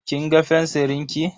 Kin ga fensirin ki?